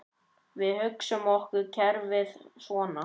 Við hugsum okkur kerfið svona